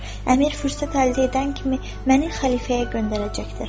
Əmir fürsət əldə edən kimi məni xəlifəyə göndərəcəkdir.